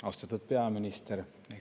Austatud peaminister!